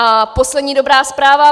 A poslední dobrá zpráva.